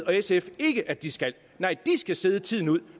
og sf ikke at de skal nej de skal sidde tiden ud